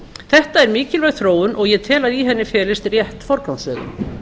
þetta er mikilvæg þróun og ég tel að í henni felist rétt forgangsröðun